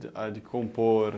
A de compor.